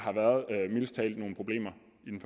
mildest talt nogle problemer